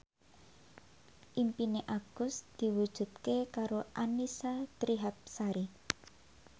impine Agus diwujudke karo Annisa Trihapsari